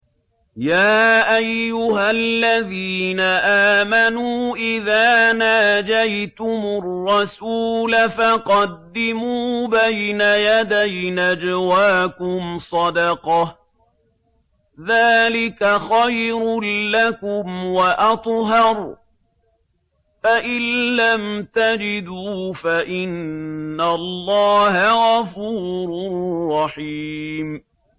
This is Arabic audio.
يَا أَيُّهَا الَّذِينَ آمَنُوا إِذَا نَاجَيْتُمُ الرَّسُولَ فَقَدِّمُوا بَيْنَ يَدَيْ نَجْوَاكُمْ صَدَقَةً ۚ ذَٰلِكَ خَيْرٌ لَّكُمْ وَأَطْهَرُ ۚ فَإِن لَّمْ تَجِدُوا فَإِنَّ اللَّهَ غَفُورٌ رَّحِيمٌ